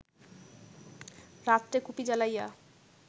রাত্রে কুপি জ্বালাইয়া